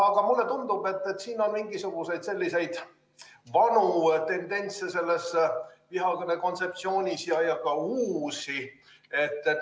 Aga mulle tundub, et selles vihakõne kontseptsioonis on mingisuguseid vanu tendentse ja ka uusi.